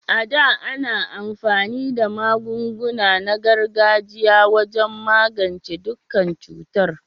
A da, ana amfani da magunguna na gargajiya wajen magance dukkan cutar.